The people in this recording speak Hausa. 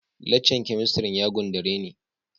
Lacca'n kemistri'n ya gundare me.